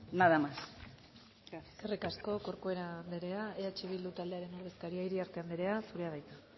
nada más gracias eskerrik asko corcuera andrea eh bildu taldearen ordezkaria iriarte andrea zurea da hitza